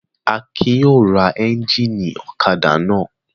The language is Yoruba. Akin yóò ra ẹ́ńjínì ọ̀kadà náà.